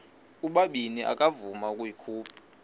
ubabini akavuma ukuyikhupha